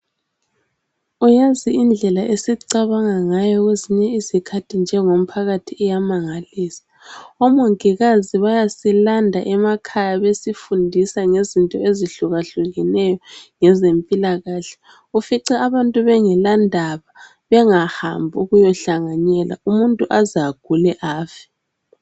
Yazi indlela esicabanga ngayo kwezinye izikhathi njengomphakathi iyamangalisa omongikazi bayasilanda emakhaya besifundisa ngezinto ezihlukahlukeneyo ngezempilakahle ufica abantu bengelandaba bengahambi ukuyohlanganela umuntu aze agule afe